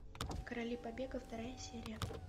короли побега вторая серия